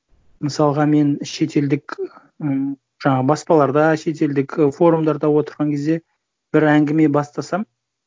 мысалға мен шетелдік ы жаңағы баспаларда шетелдік форумдарда отырған кезде бір әңгіме бастасам